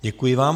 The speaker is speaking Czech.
Děkuji vám.